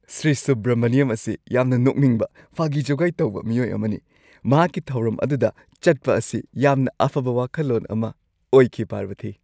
ꯁ꯭ꯔꯤ ꯁꯨꯕ꯭ꯔꯃꯅꯤꯌꯝ ꯑꯁꯤ ꯌꯥꯝꯅ ꯅꯣꯛꯅꯤꯡꯕ ꯐꯥꯒꯤ-ꯖꯨꯒꯥꯏ ꯇꯧꯕ ꯃꯤꯑꯣꯏ ꯑꯃꯅꯤ꯫ ꯃꯍꯥꯛꯀꯤ ꯊꯧꯔꯝ ꯑꯗꯨꯗ ꯆꯠꯄ ꯑꯁꯤ ꯌꯥꯝꯅ ꯑꯐꯕ ꯋꯥꯈꯜꯂꯣꯟ ꯑꯃ ꯑꯣꯏꯈꯤ ꯄꯥꯔꯕꯊꯤ꯫